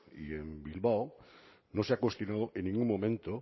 y bilbao no se ha cuestionado en ningún momento